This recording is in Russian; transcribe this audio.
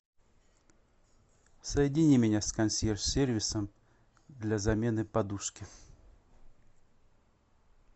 соедини меня с консьерж сервисом для замены подушки